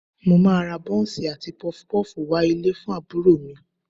Mo máa ra bọ́ńsì àti Pọfupọ́ọ̀fù wá ilé fún àbúrò mi